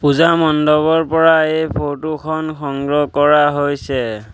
পূজা মণ্ডপৰ পৰা এই ফটোখন সংগ্ৰহ কৰা হৈছে।